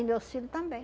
E meus filho também.